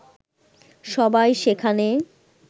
সবাই সেখানে